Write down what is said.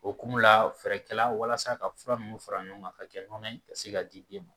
O hukumu la fɛɛrɛ kɛla walasa ka fura ninnu fara ɲɔgɔn kan ka kɛ nɔnɔ ye ka se ka di den ma